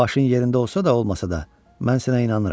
Başın yerində olsa da, olmasa da, mən sənə inanıram.